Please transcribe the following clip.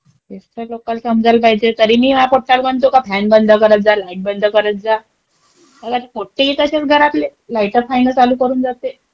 तेच तर लोकाला समजायला पाहिजे. तरी मी या पोट्टाला म्हणते की लाईट बंद करत जा, फॅन बंद करत जा. मंग आता पोट्टे ही तसेच घरातले, लाईटं-फॅनं चालू करून जाते.